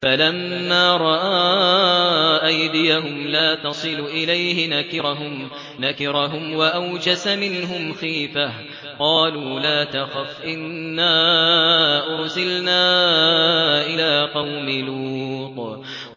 فَلَمَّا رَأَىٰ أَيْدِيَهُمْ لَا تَصِلُ إِلَيْهِ نَكِرَهُمْ وَأَوْجَسَ مِنْهُمْ خِيفَةً ۚ قَالُوا لَا تَخَفْ إِنَّا أُرْسِلْنَا إِلَىٰ قَوْمِ لُوطٍ